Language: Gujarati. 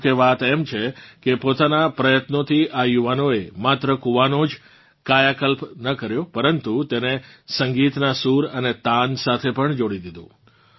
જોકે વાત એમ છે કે પોતાનાં પ્રયત્નોથી આ યુવાનોએ માત્ર કૂવાનો જ કાયાકલ્પ ન કર્યો પરંતુ તેને સંગીતનાં સૂર અને તાન સાથે પણ જોડી દીધું